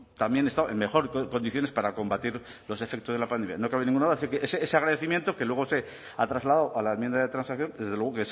también estado en mejores condiciones para combatir los efectos de la pandemia no cabe ninguna duda o sea ese agradecimiento que luego se ha trasladado a la enmienda de transacción desde luego